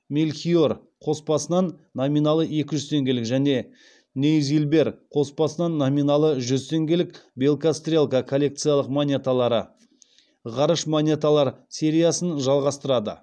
мельхиор қоспасынан номиналы екі жүз теңгелік және нейзильбер қоспасынан номиналы жүз теңгелік белка стрелка коллекциялық монеталары ғарыш монеталар сериясын жалғастырады